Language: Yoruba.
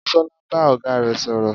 Bisola ń bá ọ̀gá rẹ̀ sọ̀rọ̀